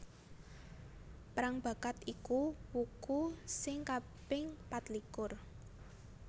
Prangbakat iku wuku sing kaping patlikur